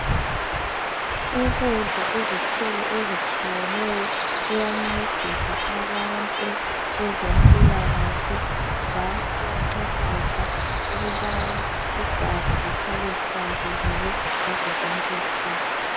Ukudla izithelo ezitshiyeneyo kuyancedisa abantu kwezempilakahle njalo kuyancedisa ukubana igazi lihlale lihlanzekile ngazo zonke izikhathi.